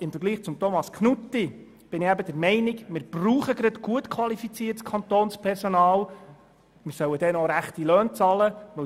Im Unterschied zu Thomas Knutti bin ich der Meinung, dass wir gut qualifiziertes Kantonspersonal brauchen und diesem auch ordentliche Löhne zahlen sollen.